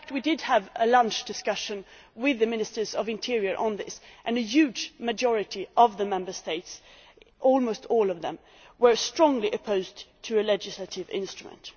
In fact we did have a lunch discussion with the Ministers of the Interior on this, and a huge majority of the Member States, almost all of them, were strongly opposed to a legislative instrument.